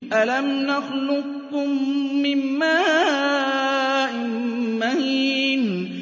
أَلَمْ نَخْلُقكُّم مِّن مَّاءٍ مَّهِينٍ